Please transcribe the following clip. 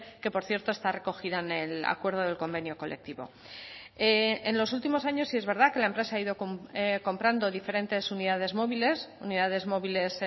que por cierto está recogida en el acuerdo del convenio colectivo en los últimos años sí es verdad que la empresa ha ido comprando diferentes unidades móviles unidades móviles